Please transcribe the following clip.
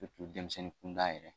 denmisɛnnin kunda yɛrɛ